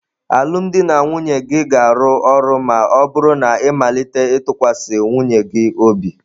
Alụmdi na nwunye gị ga-arụ ọrụ ma ọ bụrụ na ị malite ịtụkwasị nwunye gị obi.